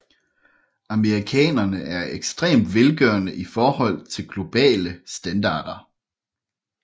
Amerikanere er ekstremt velgørende i forhold til globale standarder